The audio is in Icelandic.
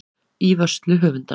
Í vörslu höfundar.